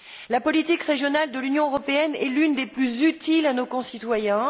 La politique régionale de l'Union européenne est l'une des plus utiles à nos concitoyens.